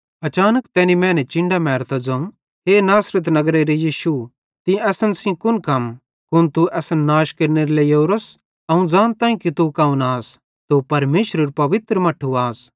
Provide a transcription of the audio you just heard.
अचानक तैनी मैने चिन्डां मेरतां ज़ोवं हे नासरत नगरेरो यीशु तीं सेइं असन कुन कम कुन तू असन नाश केरनेरे लेइ ओरोस अवं ज़ानताईं कि तू कौन आस तू परमेशरेरू पवित्र मट्ठू आस